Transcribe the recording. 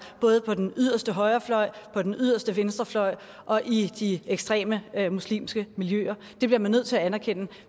både på den yderste højrefløj på den yderste venstrefløj og i de ekstreme muslimske miljøer det bliver man nødt til at anerkende